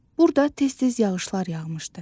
Burda tez-tez yağışlar yağmışdı.